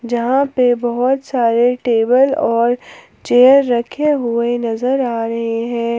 जहां पे बहोत सारे टेबल और चेयर रखे हुए नजर आ रहे हैं।